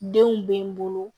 Denw bɛ n bolo